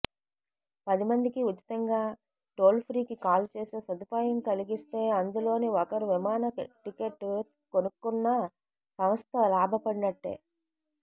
పది మందికీ ఉచితంగా టోల్ఫ్రీకి కాల్ చేసే సదుపాయం కలిగిస్తే అందులో ఒకరు విమాన టికెట్ కొనుక్కున్నా సంస్థ లాభపడినటే